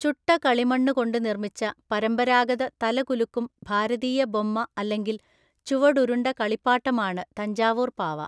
ചുട്ട കളിമണ്ണ് കൊണ്ട് നിർമ്മിച്ച പരമ്പരാഗത തലകുലുക്കും ഭാരതീയ ബൊമ്മ അല്ലെങ്കിൽ ചുവടുരുണ്ട കളിപ്പാട്ടമാണ് തഞ്ചാവൂർ പാവ.